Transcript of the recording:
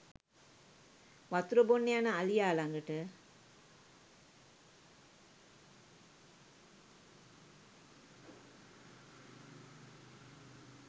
වතුර බොන්න යන අලියා ළඟට